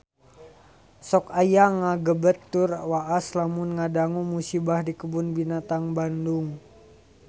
Sok asa ngagebeg tur waas lamun ngadangu musibah di Kebun Binatang Bandung